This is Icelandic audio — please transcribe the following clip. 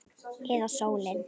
Eða sólin?